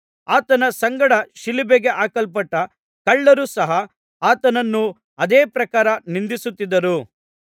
ಆತನ ಸಂಗಡ ಶಿಲುಬೆಗೆ ಹಾಕಲ್ಪಟ್ಟ ಕಳ್ಳರು ಸಹ ಆತನನ್ನು ಅದೇ ಪ್ರಕಾರ ನಿಂದಿಸುತ್ತಿದ್ದರು